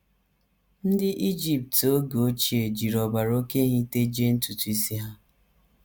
Ndị Ijipt oge ochie jiri ọbara oké ehi tejie ntutu isi ha.